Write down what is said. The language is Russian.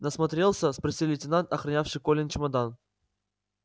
насмотрелся спросил лейтенант охранявший колин чемодан